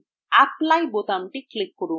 apply বোতামটি click করুন